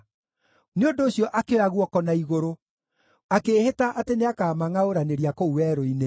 Nĩ ũndũ ũcio akĩoya guoko na igũrũ, akĩĩhĩta atĩ nĩakamangʼaũranĩria kũu werũ-inĩ,